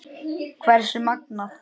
Hversu magnað!